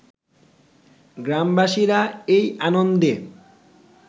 গ্রামবাসীরা এই আনন্দে